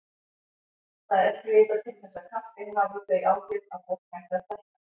Það er ekki vitað til þess kaffi hafi þau áhrif að fólk hætti að stækka.